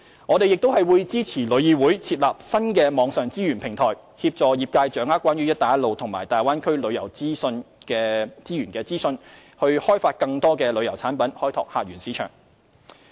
我們並會支持旅議會設立新網上資源平台，協助業界掌握關於"一帶一路"及大灣區旅遊資源的資訊，以開發更多旅遊產品，開拓客源市場。